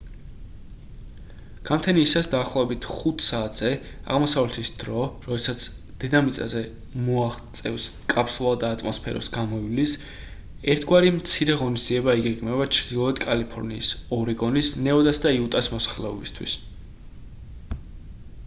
გამთენიისას დაახლოებით 5 საათზე აღმოსავლეთის დრო როდესაც დედამიწამდე მოაღწევს კაფსულა და ატმოსფეროს გამოივლის ერთგვარი მცირე ღონისძიება იგეგმება ჩრდილოეთ კალიფორნიის ორეგონის ნევადას და იუტას მოსახლეობისთვის